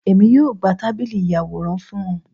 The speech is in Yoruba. Èmi yóò gbà tábìlì ìyàwòrán fún ọ